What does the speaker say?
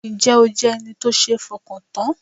Ǹ jẹ́ o jẹ́ ẹni tó sé fọkàn tán?